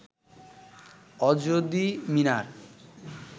অজদী মিনার